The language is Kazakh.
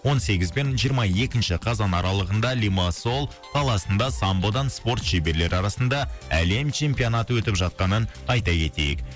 он сегіз бен жиырма екінші қазан аралығында лимассол қаласында самбодан спорт шеберлері арасында әлем чемпионаты өтіп жатқанын айта кетейік